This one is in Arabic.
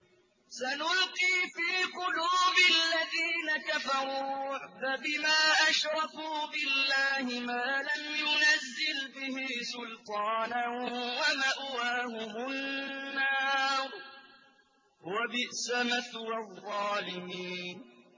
سَنُلْقِي فِي قُلُوبِ الَّذِينَ كَفَرُوا الرُّعْبَ بِمَا أَشْرَكُوا بِاللَّهِ مَا لَمْ يُنَزِّلْ بِهِ سُلْطَانًا ۖ وَمَأْوَاهُمُ النَّارُ ۚ وَبِئْسَ مَثْوَى الظَّالِمِينَ